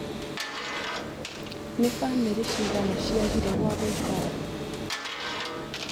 Nĩ bamĩrĩ cigana ciagire gwa gũikara?